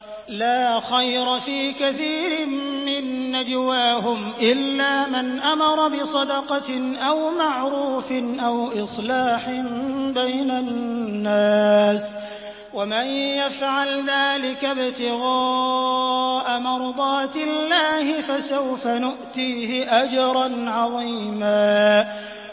۞ لَّا خَيْرَ فِي كَثِيرٍ مِّن نَّجْوَاهُمْ إِلَّا مَنْ أَمَرَ بِصَدَقَةٍ أَوْ مَعْرُوفٍ أَوْ إِصْلَاحٍ بَيْنَ النَّاسِ ۚ وَمَن يَفْعَلْ ذَٰلِكَ ابْتِغَاءَ مَرْضَاتِ اللَّهِ فَسَوْفَ نُؤْتِيهِ أَجْرًا عَظِيمًا